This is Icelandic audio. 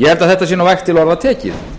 ég held að þetta sé vægt til orða tekið